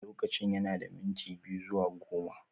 Lokacin yana da minti biyu zuwa goma